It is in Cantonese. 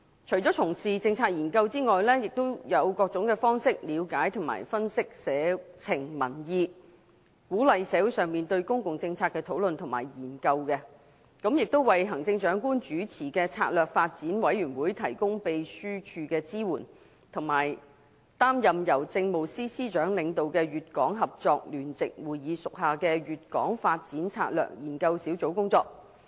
除從事政策研究外，也以各種方式了解及分析社情民意，鼓勵社會上對公共政策的討論和研究，為行政長官主持的策略發展委員會提供秘書處支援，以及擔任由政務司司長領導的粵港合作聯席會議屬下的粵港發展策略研究小組工作。